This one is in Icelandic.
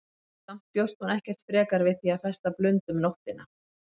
Samt bjóst hún ekkert frekar við því að festa blund um nóttina.